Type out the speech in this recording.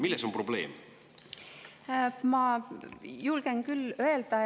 Milles on probleem?